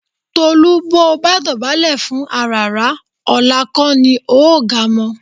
Tolú bó o bá dọ̀bálẹ̀ fún àràrá ọ̀la kò ní o ò ga mọ́